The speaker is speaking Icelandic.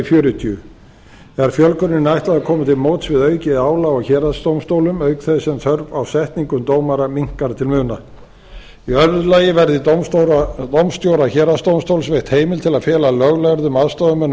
fjörutíu er fjölguninni ætlað að koma til móts við aukið álag á héraðsdómstólum auk þess sem þörf á setningum dómara minnkar til muna í í öðru lagi verður dómstjóra héraðsdómstóls veitt heimild til að fela löglærðum aðstoðarmönnum